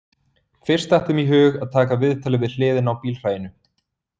Fyrst datt þeim í hug að taka viðtalið við hliðina á bílhræinu